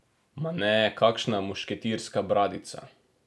Ma ne kakšna mušketirska bradica.